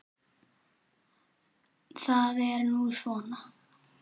Það er nú svona.